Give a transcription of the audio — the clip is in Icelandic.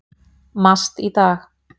MAST í dag.